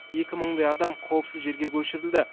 екі мыңдай адам қауіпсіз жерге көшірілді